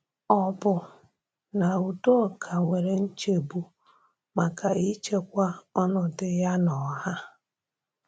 Ọ̀ bụ na Udoka nwere nchegbu maka ichekwa ọnọdụ ya n’ọha?